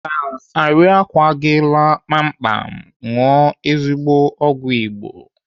Ka arịkwa gị laa kpamkpam, ṅụọ ezigbo ọgwụ Igbo.